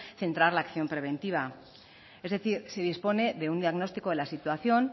centrar la acción preventiva es decir se dispone de un diagnóstico de la situación